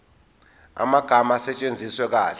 amagama asetshenziswe kahle